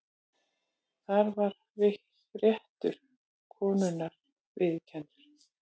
Þar var réttur konunnar viðurkenndur.